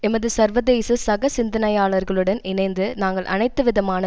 எமது சர்வதேச சக சிந்தனையாளர்களுடன் இணைந்து நாங்கள் அனைத்துவிதமான